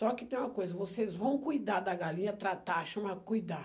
Só que tem uma coisa, vocês vão cuidar da galinha, tratar, chama cuidar.